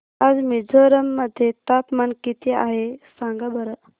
आज मिझोरम मध्ये तापमान किती आहे सांगा बरं